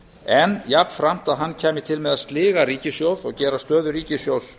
en jafnframt að hann kæmi til með að sliga ríkissjóð og gera stöðu ríkissjóðs